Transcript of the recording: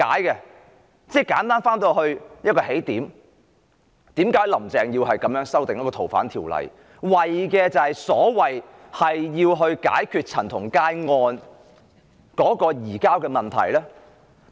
簡單來說，現在又回到起點，為甚麼"林鄭"要修訂《逃犯條例》，為的是要解決陳同佳案的移交問題呢？